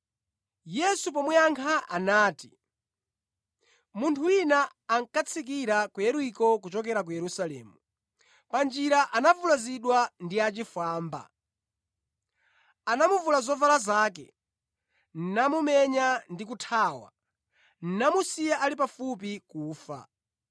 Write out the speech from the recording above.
Yesu pomuyankha anati, “Munthu wina ankatsikira ku Yeriko kuchokera ku Yerusalemu. Pa njira anavulazidwa ndi achifwamba. Anamuvula zovala zake, namumenya ndi kuthawa, namusiya ali pafupi kufa.